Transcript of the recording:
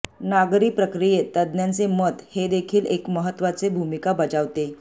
नागरी प्रक्रियेत तज्ञांचे मत हे देखील एक महत्त्वाचे भूमिका बजावते